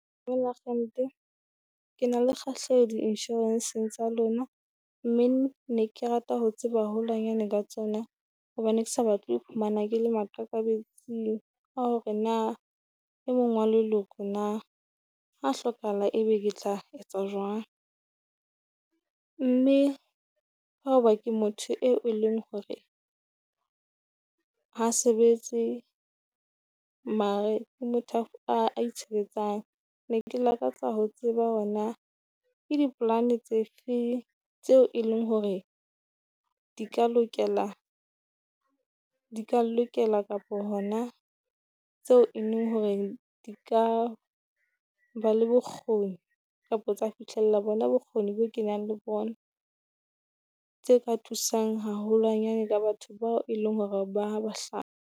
Akgente, ke na le kgahleho di inshorenseng tsa lona, mme ne ke rata ho tseba haholwanyane ka tsona. Bobane ke sa batle ho iphumana ke le maqakabetsing a hore na e mong wa leloko na ha hlokahala, ebe ke tla etsa jwang? Mme ha o ba ke motho eo e leng hore ha sebetse, mare e motho a itshebetsang. Ne ke lakatsa ho tseba ho na ke dipolane tse feng tseo e leng hore di ka lokela di ka nlokela, kapo hona tseo e leng hore di ka ba le bokgoni, kapo tsa fihlella bona bokgoni bo kenang le bona? Tse ka thusang haholwanyane ka batho bao e leng hore ba